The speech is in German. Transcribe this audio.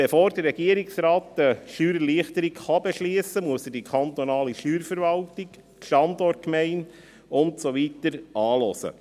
Bevor der Regierungsrat eine Steuererleichterung beschliessen kann, muss er die kantonale Steuerverwaltung, die Standortgemeinde und so weiter anhören.